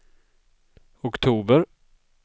oktober